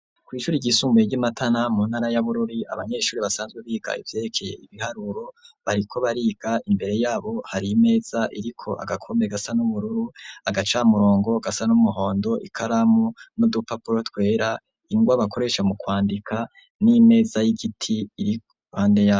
Kw' ishuri ry'isumbuye ry'iMatana mu ntara ya Bururi abanyeshuri basanzwe biga ivyerekeye ibiharuro bariko bariga imbere yabo har' imeza iriko agakombe gasa n'ubururu agacamurongo gasa n'umuhondo ikaramu n'udupapuro twera ,ingwa bakoresha mu kwandika n'imeza y'igiti iri ruhande yabo.